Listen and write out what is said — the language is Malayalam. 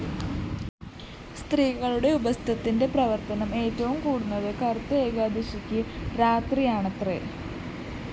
സ്ത്രീകളുടെ ഉപസ്ഥത്തിന്റെ പ്രവര്‍ത്തനം ഏറ്റവും കൂടുന്നത്‌ കറുത്ത ഏകാദശിക്ക്‌ രാത്രിയാണത്രേ